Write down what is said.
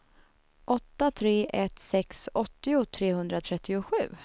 åtta tre ett sex åttio trehundratrettiosju